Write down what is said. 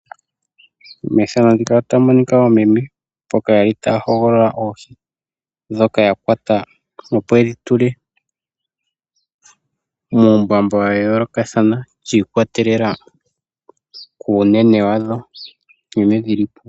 Methano ndika otamu monika oomeme taya hoogolola oohi ndhoka ya kwata. Opo yedhi tule muumbamba wa yoolokathana shikwatelela kuunene wadho nkene dhili.